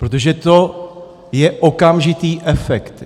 Protože to je okamžitý efekt.